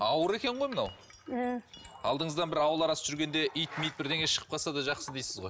ауыр екен ғой мынау ы алдыңыздан бір ауыл арасы жүргенде ит мит бірдеңе шығып қалса да жақсы дейсіз ғой